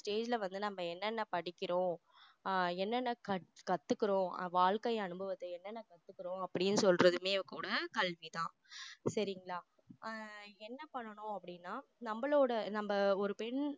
செயல்ல வந்து நம்ம என்னன்ன படிக்கிறோம் ஆஹ் என்னன்ன கத்துக்குறோம் அஹ் வாழ்க்கை அனுபவத்தை என்னன்ன கத்துக்குறோம் அப்படின்னு சொல்றதுமே கூட கல்விதான் சரிங்களா ஆஹ் என்ன பண்ணணும் அப்படினனா நம்மளோட நம்ம ஒரு பெண்